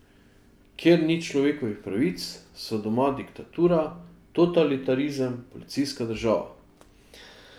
Kjer ni človekovih pravic, so doma diktatura, totalitarizem, policijska država.